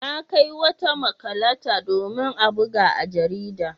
Na kai wata makalata domin a buga a jarida.